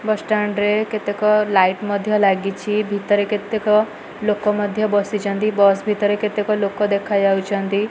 ବସ stand କେତେ light ମଧ୍ୟ ଲାଗିଛି ଭିତରେ କେତେକ ଲୋକ ମଧ୍ୟ ବସିଛନ୍ତି ବସ ଭିତରେ କେତେକ ଲୋକ ଦେଖା ଯାଉଛନ୍ତି।